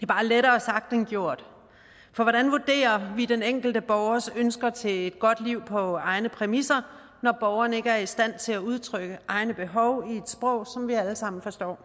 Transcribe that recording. bare lettere sagt end gjort for hvordan vurderer vi den enkelte borgers ønsker til et godt liv på egne præmisser når borgeren ikke er i stand til at udtrykke egne behov i et sprog som vi alle sammen forstår